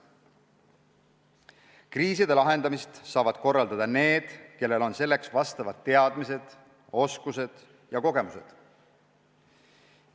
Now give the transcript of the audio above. Kriiside lahendamist saavad korraldada inimesed, kellel on selleks vajalikud teadmised, oskused ja kogemused.